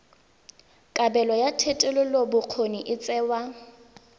kabelo ya thetelelobokgoni e tsewa